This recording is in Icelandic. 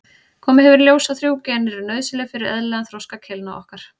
Komið hefur í ljós að þrjú gen eru nauðsynleg fyrir eðlilegan þroska keilna okkar.